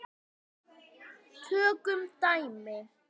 Tökum dæmi: